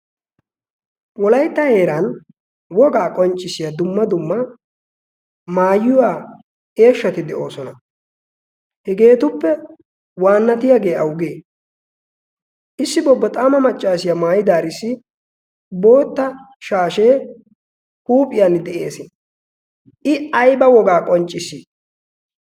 wolaitta heeran wogaa qonccissiya dumma dumma maayiwaa eeshshati de7oosona. hegeetuppe waannatiyaagee awugee issi bobboxaama maccaasiyaa maayidaarissi bootta shaashee huuphiyan de7ees. i aiba wogaa qonccissi?